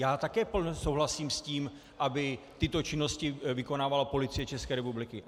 Já také souhlasím s tím, aby tyto činnosti vykonávala Policie České republiky.